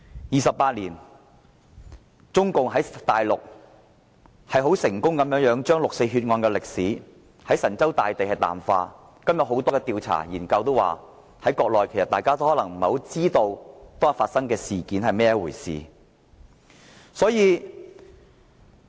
二十八年來，中共成功地將六四血案的歷史在神州大地淡化，今天很多調查研究顯示，國內人民都已不清楚當天發生了甚麼事。